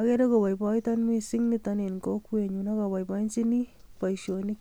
.Agere koboiboitoon Niton missing en kokwenyun ak aboiboinyini boishooni.